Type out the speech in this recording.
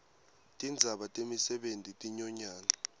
tindzaba temisebenti tinyonyana